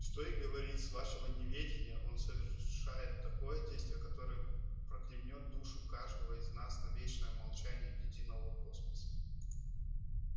что и говорить с вашего неведения он совершает такое действие которое проклянёт душу каждого из нас на вечное молчание ледяного космоса